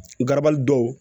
Garabali dɔw